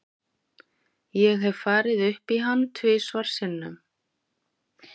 Ég hef farið upp í hann tvisvar sinnum.